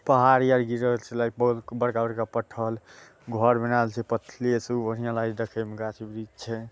पहाड़ या ब-बड़का बड़का पत्थर घर बनाएल छै पथले से उ बढ़िया लागे छै देखे मे गाछी वृक्ष छै।